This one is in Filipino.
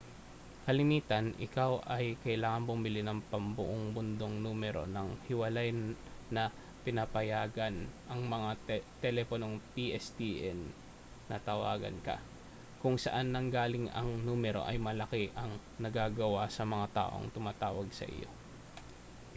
kalimitan ikaw ay kailangang bumili ng pambuong mundong numero nang hiwalay na pinapayagan ang mga teleponong pstn na tawagan ka kung saan nanggaling ang numero ay malaki ang nagagawa sa mga taong tumatawag sa iyo